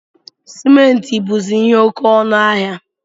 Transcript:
Simenti buzi ihe oke ọnụ ahịa